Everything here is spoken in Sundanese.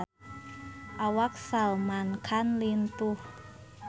Awak Salman Khan lintuh